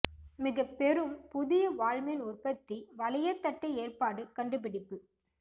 மிகப் பெரும் புதிய வால்மீன் உற்பத்தி வளையத் தட்டு ஏற்பாடு கண்டுபிடிப்பு